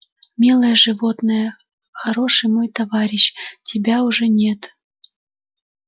милое животное хороший мой товарищ тебя уже нет